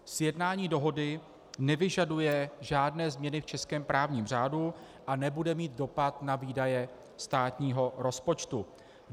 Sjednání dohody nevyžaduje žádné změny v českém právním řádu a nebude mít dopad na výdaje státního rozpočtu.